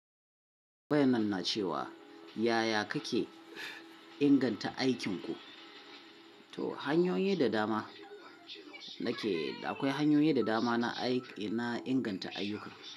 Tambayan nan na cewa yaya kake inganta aikinku? To hanyoyi da dama na ke, akwai hanyoyi da dama na inganta ayyuka.